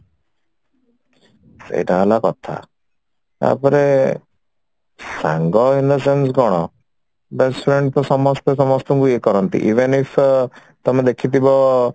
ସେଇଟା ହେଲା କଥା ତାପରେ ସାଙ୍ଗ in the sense କଣ best friend ତ ସମସ୍ତେ ସମସ୍ତଙ୍କୁ ଇଏ କରନ୍ତି even if ତମେ ଦେଖିଥିବ